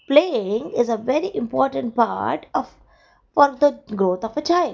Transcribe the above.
playing is a very important part of for the growth of a child.